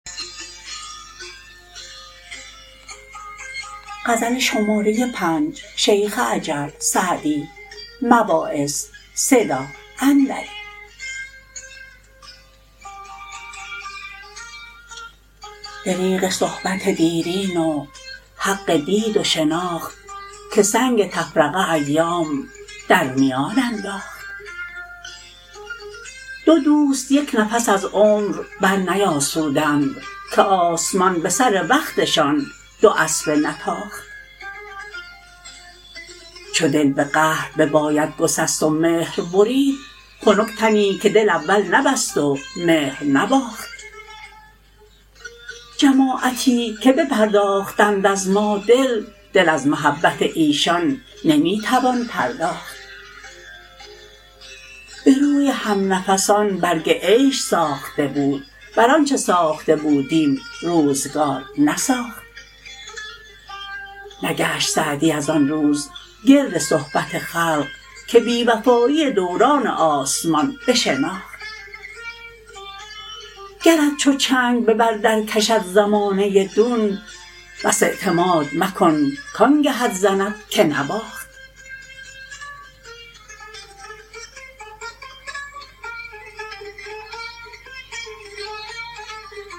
دریغ صحبت دیرین و حق دید و شناخت که سنگ تفرقه ایام در میان انداخت دو دوست یک نفس از عمر برنیاسودند که آسمان به سر وقتشان دو اسبه نتاخت چو دل به قهر بباید گسست و مهر برید خنک تنی که دل اول نبست و مهر نباخت جماعتی که بپرداختند از ما دل دل از محبت ایشان نمی توان پرداخت به روی همنفسان برگ عیش ساخته بود بر آنچه ساخته بودیم روزگار نساخت نگشت سعدی از آن روز گرد صحبت خلق که بی وفایی دوران آسمان بشناخت گرت چو چنگ به بر در کشد زمانه دون بس اعتماد مکن کآنگهت زند که نواخت